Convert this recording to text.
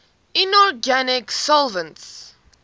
inorganic solvents